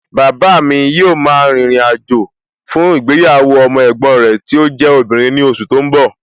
Bàbáa mi yóò ma rìnrìn àjò fún ìgbéyàwó ọmọ ẹ̀gbọ́n rẹ tí ó jẹ́ obìnrin ní oṣù tó ń bọ̀